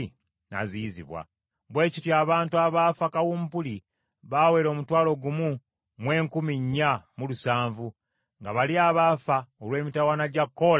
Bwe kityo abantu abaafa kawumpuli baawera omutwalo gumu mu enkumi nnya mu lusanvu, nga bali abaafa olw’emitawaana gya Koola tobataddeeko.